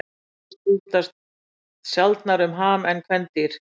Karldýr skipta sjaldnar um ham en kvendýr.